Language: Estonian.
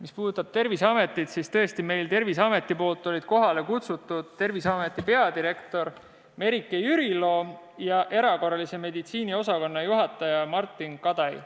Mis puudutab Terviseametit, siis sealt olid meil kohale kutsutud Terviseameti peadirektor Merike Jürilo ja erakorralise meditsiini osakonna juhataja Martin Kadai.